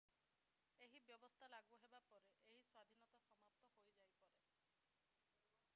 ଏହି ବ୍ୟବସ୍ଥା ଲାଗୁ ହେବା ପରେ ଏହି ସ୍ଵାଧୀନତା ସମାପ୍ତ ହୋଇଯାଇପାରେ